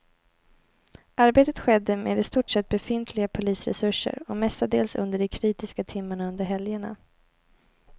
Arbetet skedde med i stort sett befintliga polisresurser och mestadels under de kritiska timmarna under helgerna.